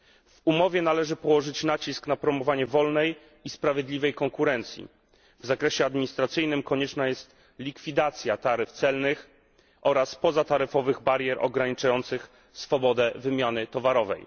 W umowie należy położyć nacisk na promowanie wolnej i sprawiedliwej konkurencji. W zakresie administracyjnym konieczna jest likwidacja taryf celnych oraz pozataryfowych barier ograniczających swobodę wymiany towarów.